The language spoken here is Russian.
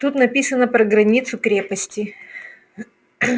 тут написано про границу крепости